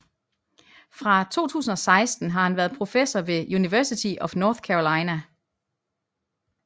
Fra 2016 har han været professor ved University of North Carolina